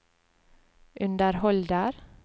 underholder